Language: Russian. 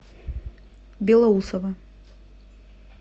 белоусово